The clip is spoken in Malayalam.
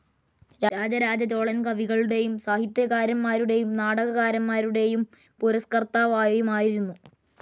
രാജരാജചോളൻ കവികളുടെയും സാഹിത്യകാരന്മാരുടെയും നാടകകാരന്മാരുടെയും പുരസ്കർത്താവുമായിരുന്നു.